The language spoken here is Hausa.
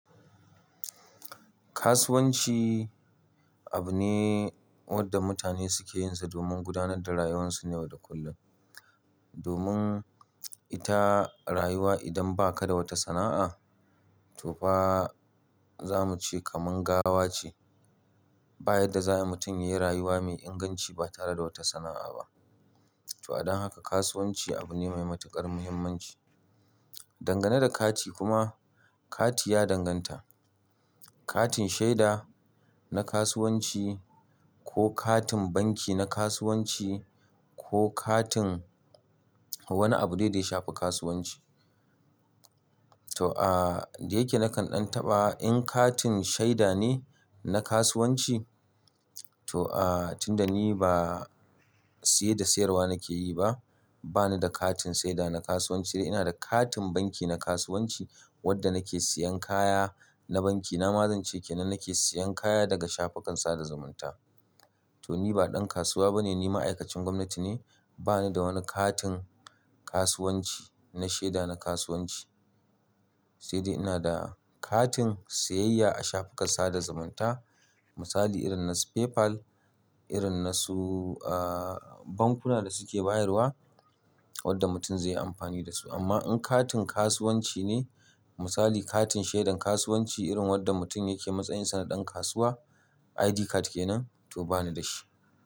Kasuwanci abu ne wanda mutane suke yin sa domin gudanar da rayuwarsu na yau da kullum. Domin ita rayuwa idan ba ka da wata sana'a, to fa za mu ce kamar gawa ce. Ba yarda za'a mutum ya rayuwa mai inganci ba tare da wata sana'a ba. To, adon haka kasuwanci abu ne mai matuƙar muhimmanci. Dangane da kati kuma kati ya danganta. Katin shaida na kasuwanci ko katin banki na kasuwanci ko katin wani abu dai da ya shafi kasuwanci. To, ah, da yake nakan ɗan taɓa in katin shaida ne na kasuwanci, to ah, tunda ni ba siye da sayarwa nake yi ba, ba ni da katin shaida na kasuwanci dai ina da katin banki na kasuwanci wadda nake siyan kaya na banki. Na ma zan ce ke nan nake siyan kaya daga shafukan sada zumunta. To, ni ba ɗan kasuwa bane, ni ma'aikacin gwamnati ne. Ba ni da wani katin kasuwanci na shaida na kasuwanci. Sai dai ina da katin siyayya a shafukan sada zumunta. Misali irin na su PayPal, irin na su ah bankuna da suke bayarwa wadda mutum zai yi amfani da su. Amma in katin kasuwanci ne, misali katin shaidan kasuwanci irin wadda mutum yake matsayinsa na ɗan kasuwa ID card kenan to ba ni da shi.